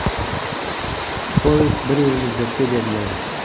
Polis bir yil muddatga beriladi.